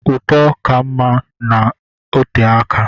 Ụtọ ka mma na ote aka.